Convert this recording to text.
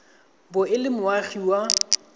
bo e le moagi wa